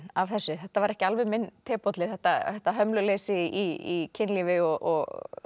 af þessu þetta var ekki alveg minn tebolli þetta þetta hömluleysi í kynlífi og